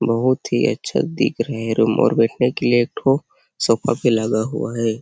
बहुत ही अच्छा दिख रहे है रूम और जैसे की एक ठो सोफा भी दिख रही है।